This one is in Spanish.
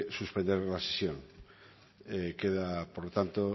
suspender la sesión queda terminada por lo tanto